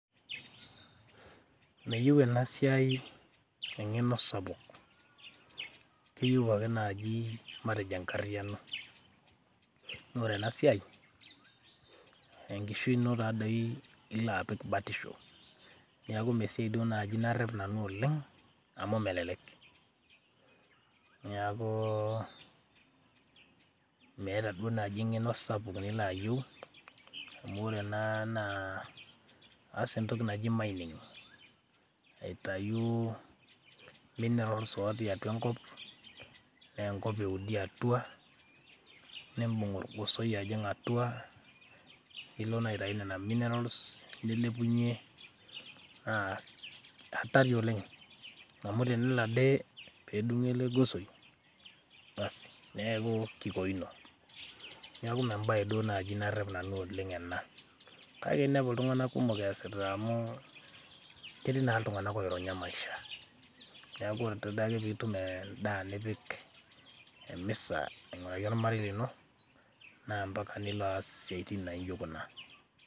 meyieu ena siai eng'eno sapuk keyieu ake naaji matejo enkarriyiano noore ena siai enkishui ino taa dei ilo apik batisho niaku mee esiai duo naaji narrep nanu oleng amu melelek niaku, meeta duo naaji eng'eno sapuk nilo ayieu amu ore ena naa aas entoki naji mining aitayu minerals otii atua enkop neenkop eudi atua nimbung orgosoi ajing atua nilo naa aitai nena minerals nilepunyie naa hatari oleng anu tenelo ade peedung'o ele gosoi basi neeku kikoino, neeku mee embaye duo naaji narrep nanu oleng ena kaka inepu iltung'anak kumok eesita amu ketii naa iltung'anak oironya maisha niaku ore adake piitum endaa nipik emisa aing'uraki ormarei lino naa ampaka nilo aas isiaitin naijo kuna.